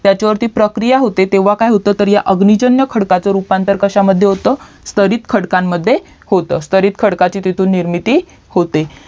त्याच वरती प्रक्रिया होते तेव्हा काय होतं तर ह्या अगणिजनन्य खडकचा रूपांतर कश्यामद्धे होतं स्थरीत खडकामध्ये होतं स्तरीत खडकची तिथून निर्मिती होते